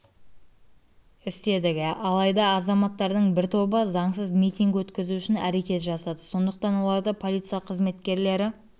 істедік алайда азаматтардың бір тобы заңсыз митинг өткізу үшін әрекет жасады сондықтан оларды полиция қызметкерлері